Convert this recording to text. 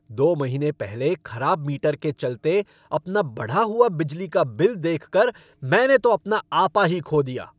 दो महीने पहले खराब मीटर के चलते अपना बढ़ा हुआ बिजली का बिल देखकर मैंने तो अपना आपा ही खो दिया।